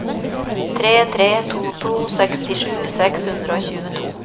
tre tre to to sekstisju seks hundre og tjueto